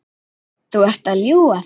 Þú ert að ljúga þessu!